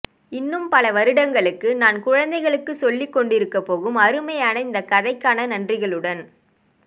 இன்னும் பல வருடங்களுக்கு நான் குழந்தைகளுக்கு சொல்லிக்கொண்டிருக்கப் போகும் அருமையான இந்தக்கதைக்கான நன்றிகளுடன்